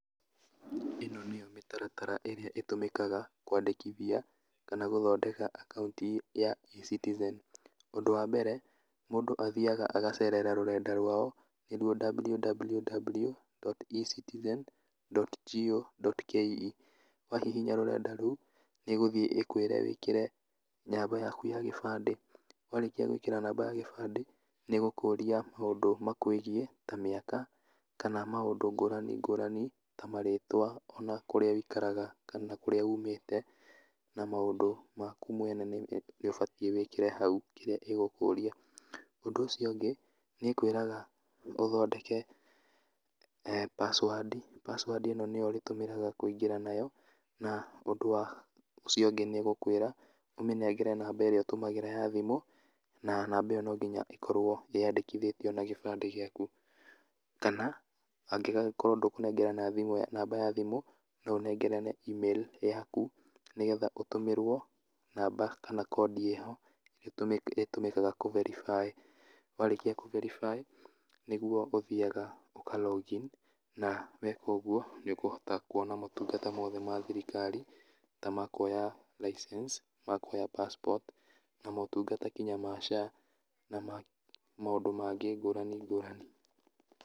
ĩno nĩyo mĩtaratara ĩrĩa ĩtũmĩkaga kwandĩkithia kana gũthondeka akaunti ya ecitizen, ũndũ wa mbere, mũndũ athiaga agacerera rũrenda rwao, nĩruo www.ecitizen.go.ke wahihinya rũrenda rũu, nĩũgũthiĩ ĩkwĩre wĩkĩre namba yaku ya gĩbandĩ, warĩkia gwĩkĩra namba ya gĩbandĩ, nĩgũkũria maũndũ ma kwĩgiĩ, ta mĩaka, kana maũndũ ngũrani ngũrani ta marĩtwa, ona kũrĩa wũikaraga kana kũrĩa umĩte, na maũndũ maku mwene nĩũbatiĩ wĩkĩre hau, kĩrĩa ĩgũkũria, ũndũ ũcio ũngĩ, nĩkwĩraga ũthondeke, password, password ĩno nĩyo ũrĩtũmagĩra kũingĩra nayo, na ũndũ wa, ũcio ũngĩ nĩgũkwĩra ũmĩnengere namba ĩrĩa ũtũmagĩra ya thimũ, na namba ĩyo nonginya ĩkorwo yandĩkithĩtio na gĩbandĩ gĩaku, kana, angĩgagĩkrwo ndũkũnengerana namba ya thimũ noũnengerane email yaku, nĩgetha ũtũmĩrwo, namba kana kondi ĩho, ĩrĩa ĩtũmĩkaga kũ verify warĩkia kũ verify, nĩguo ũthiaga ũka log in, na weka ũguo nĩũkũhota kuona motungata mothe ma thirikari, ta makuoya license makuoya passport, na motungata nginya ma SHA na ma maũndũ mangĩ ngũrani ngũrani.